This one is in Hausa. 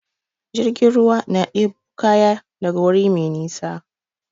Jirgin ruwa na ɗebo kaya daga wuri mai nisa.